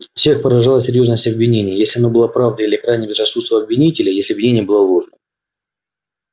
всех поражала серьёзность обвинения если оно было правдой или крайнее безрассудство обвинителей если обвинение было ложным